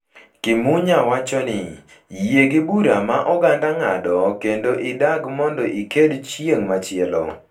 Kimunya wacho ni, yie gi bura ma oganda ng’ado kendo idag mondo iked chieng’ machielo.